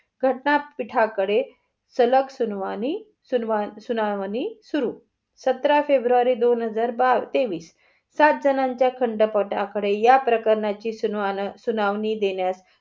घटना पीठाकडे सलग सुनावणी, सुनावणी सुरु. सत्रा फेब्रुरी दोन हजार तेवीस. सात जणांच्या खंडपाठ आकडे या प्रकणाची सुनवाणी सुनावणी देण्यास